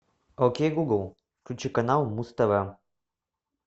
окей гугл включи канал муз тв